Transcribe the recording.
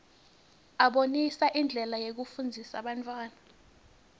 abonisa indlela yekufundzisa bantfwana